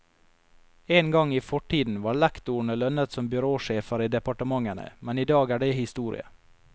En gang i fortiden var lektorene lønnet som byråsjefer i departementene, men i dag er det historie.